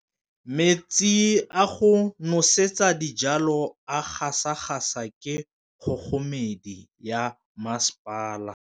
Metsi a go nosetsa dijalo a gasa gasa ke kgogomedi ya masepala.